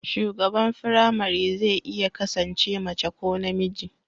shugaban firamare zai iya kasance mace ko namiji